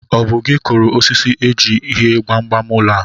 Ọ bụ gị kụrụ osisi e ji hie gbamgbam ụlọ a